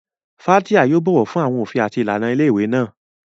Fathia yóò bọ̀wọ̀ fún àwọn òfin àti ìlànà ilé ìwé náà.